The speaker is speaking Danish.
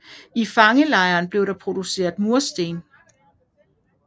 I fangelejren blev der produceret mursten